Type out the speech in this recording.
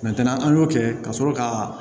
an y'o kɛ ka sɔrɔ ka